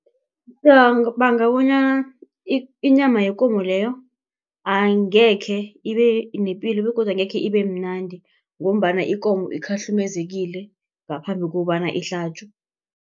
bonyana inyama yekomo leyo angekhe ibe nepilo begodu angekhe ibe mnandi ngombana ikomo ikhahlumezekile ngaphambi kobana ihlatjwe.